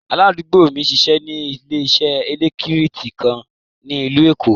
Aládùúgbò mi n ṣíṣẹ́ ní ilẹ̀ṣẹ̀ èlẹ́ktríkì kan ní ílú Èkó.